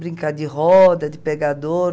Brincar de roda, de pegador.